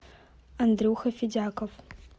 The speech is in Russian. андрюха федяков